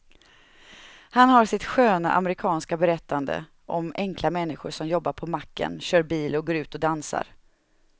Han har sitt sköna amerikanska berättande om enkla människor som jobbar på macken, kör bil och går ut och dansar.